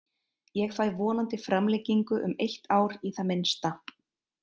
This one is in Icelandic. Ég fæ vonandi framlengingu um eitt ár í það minnsta.